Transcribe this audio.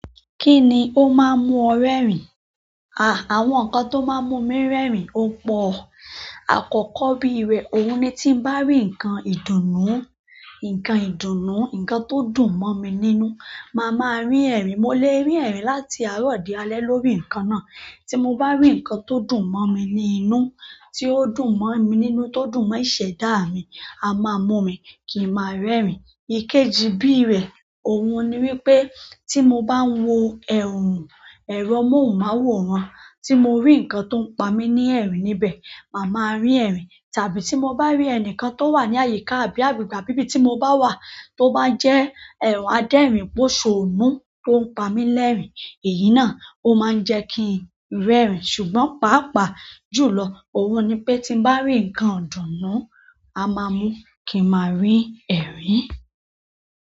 Ki ni o maa n mu o rerin? Àh, àwọn nǹkan tó máa ń mú mi rẹ́rìn ò pọ̀. Akoko bíi re, oun ni ti n ba ri nkan ìdùnnú, nkan ìdùnnú, nkan to dùn mo mi nínú, maa maa rin eri. Mo lè rí ẹ̀rìn láti àárọ̀ dí alẹ́ lórí nǹkan náà. Tí mo bá rí nǹkan tó dùn mọ́ mi ní inú, tí ó dùn mọ́ mi nínú, tó dùn mọ́ ìṣẹ̀dá mi, a maa mú mi kì n ma rẹ́rìn. Ikeji bíi rẹ̀, òun ni wípé tí mo bá ń wo ẹ̀rùn, ẹ̀rọ amóhùnmáwòrán, tí mo rí nǹkan tó ń pa mí ní ẹ̀rìn níbẹ̀, màá ma rí ẹ̀rìn. Tàbí tí mo bá rí ẹnìkan tó wà ní àyíká àbí àgbègbè àbí ibí tí mo bá wà tó bá jẹ́ ehn adérìn pòsọ̀nú tó ń pa mí lẹ́rìn, èyí náà ó máa ń jẹ́ kí n rẹ́rìn. Ṣùgbọ́n pàápàá jù lọ, òun ni pé tí n bá rí nǹkan ìdùnnú á máa mú kí n máa rín ẹ̀rìn.